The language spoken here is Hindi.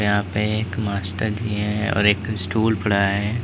यहां पे एक मास्टर जी है और एक स्टूल पड़ा है।